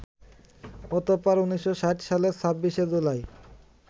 অতঃপর ১৯৬০ সালের ২৬শে জুলাই